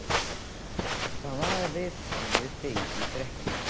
Það var viðtal við þig í fréttunum.